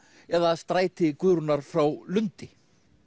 eða stræti Guðrúnar frá Lundi